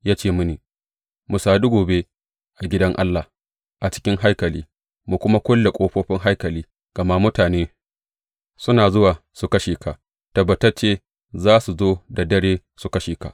Ya ce mini, Mu sadu gobe a gidan Allah, a cikin haikali, mu kuma kulle ƙofofin haikali, gama mutane suna zuwa su kashe ka, tabbatacce za su zo da dare su kashe ka.